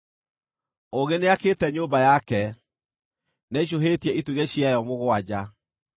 Ũũgĩ nĩakĩte nyũmba yake; nĩaicũhĩtie itugĩ ciayo mũgwanja.